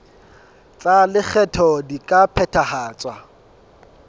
tsa lekgetho di ka phethahatswa